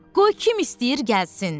Qoy kim istəyir gəlsin.